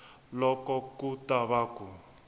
loko ku ta va ku